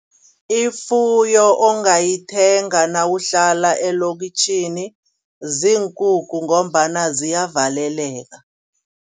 Ifuyo ongayithenga nawuhlala elokitjhini ziinkukhu ngombana ziyavaleleka.